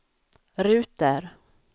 ruter